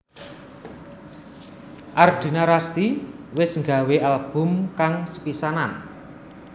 Ardina Rasti wis nggawé album kang sepisanan